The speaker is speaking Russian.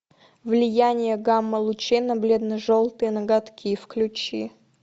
влияние гамма лучей на бледно желтые ноготки включи